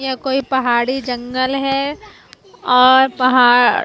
यह कोई पहाड़ी जंगल है और पहाड़--